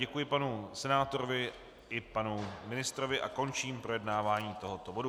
Děkuji panu senátorovi i panu ministrovi a končím projednávání tohoto bodu.